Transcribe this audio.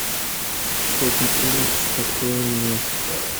сотни улиц открой мне